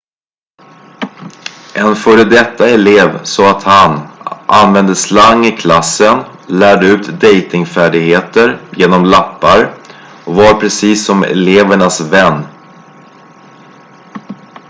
"en före detta elev sa att han "använde slang i klassen lärde ut dejtingfärdigheter genom lappar och var precis som elevernas vän.""